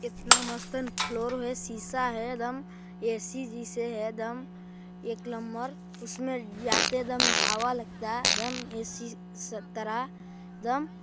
इतना मस्त फ्लौर शीशा है एदम ए _सी जैसे है एदम एक नंबर उसमे जाते दम हवा लगता एदम ए _सी तरह एदम--